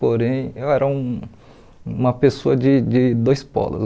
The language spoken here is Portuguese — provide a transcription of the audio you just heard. Porém, eu era um uma pessoa de de dois polos.